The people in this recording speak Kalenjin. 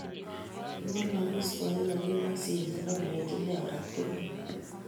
Kiwalogis boiyonyi ak sienyi akolenji inne korat kurubet